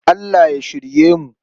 Allah ya shirye mu.